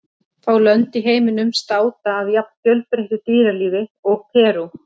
Fá lönd í heiminum státa af jafn fjölbreyttu dýralífi og Perú.